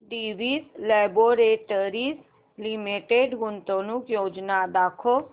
Divi's laboratories limited गुंतवणूक योजना दाखव